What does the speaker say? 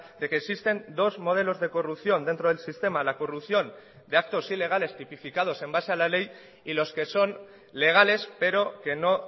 de que existen dos modelos de corrupción dentro del sistema la corrupción de actos ilegales tipificados en base a la ley y los que son legales pero que no